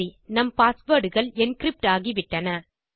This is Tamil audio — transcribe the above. சரி நம் பாஸ்வேர்ட் கள் என்கிரிப்ட் ஆகிவிட்டன